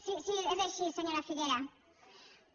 sí és així senyora figueras